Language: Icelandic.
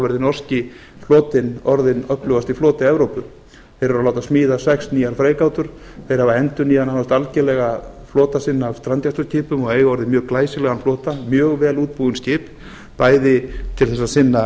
verði norski flotinn orðinn öflugasti floti evrópu þeir eru að láta smíða sex nýjar freigátur þeir hafa endurnýjað nánast algerlega flota sinn af strandgæsluskipin og eiga orðið mjög glæsilegan flota mjög vel útbúin skip bæði til þess að sinna